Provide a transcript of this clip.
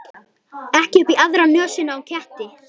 Ekki upp í aðra nösina á ketti.